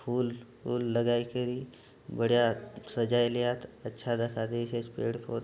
फूल फूल लगाइकरि बढ़िया सजाइलियात अच्छा दखा देयसि पेड़ प --